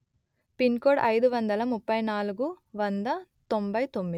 pin code అయిదు వందలు ముప్పై నాలుగు వంద తొంభై తొమ్మిది